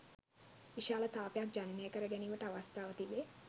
විශාල තාපයක් ජනනය කර ගැනීමට අවස්ථාව තිබේ.